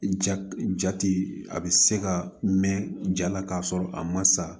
Ja jate a bɛ se ka mɛn jaa la k'a sɔrɔ a ma sa